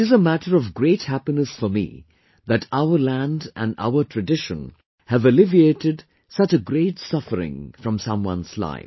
It is a matter of great happiness for me that from our land and our tradition have alleviated such a great suffering from someone's life